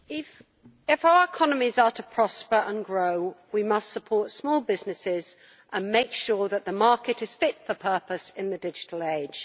Mr President, if our economies are to prosper and grow we must support small businesses and make sure that the market is fit for purpose in the digital age.